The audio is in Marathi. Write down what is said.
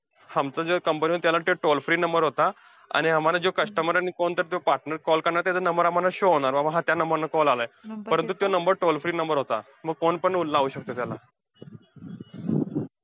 आमचा जो company चा जो number होता, तो tollfree number होता आणि आम्हांला जो customer आणि कोणता जो partner call करणार, त्याचा number आम्हांला show होणार. बाबा हा त्या number ला call आलाय, परंतु त्यो number tollfree number होता, मग phone पण लावू शकतोय त्याला.